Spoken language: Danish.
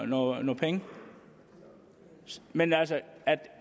nogle penge men at